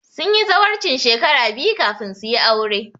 Sun yi zawarcin shekara biyu kafin su yi aure